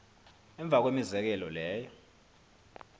emva kwemizekelo leyo